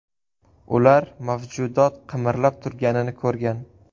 Ular mavjudot qimirlab turganini ko‘rgan.